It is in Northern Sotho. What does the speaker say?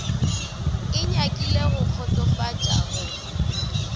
e nyakile go kgotsofatša go